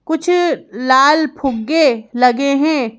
कुछ लाल फुग्गे लगे हैं।